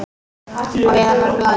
Og Viðar varð glaður.